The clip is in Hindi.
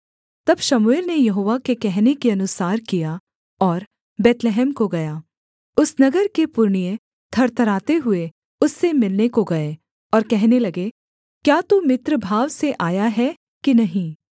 तब शमूएल ने यहोवा के कहने के अनुसार किया और बैतलहम को गया उस नगर के पुरनिये थरथराते हुए उससे मिलने को गए और कहने लगे क्या तू मित्रभाव से आया है कि नहीं